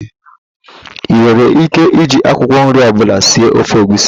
Ị nwere íké iji akwụkwọ nri ọbụla sie ofe egwusi.